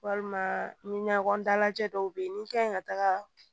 Walima ɲɔgɔn dalajɛ dɔw be yen ni kan ɲi ka taga